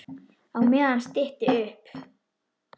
Á meðan stytti upp.